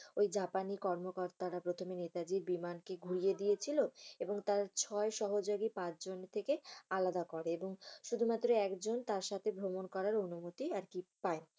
ঐজাপানি কর্মকর্তারা প্রথমে নেতাজীর বিমানকে ঘুড়িয়ে দিয়েছিল। এবং তার ছয় সহযোগীর পাঁচ জনের থেকে আলাদা করে এবং শুধুমাত্র একজন তার সাথে ভ্রমণ করার অনুমতি আর কি পায়।